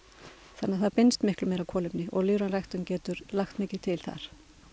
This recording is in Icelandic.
þannig að það binst meira kolefni og lífræn ræktun getur langt mikið til þar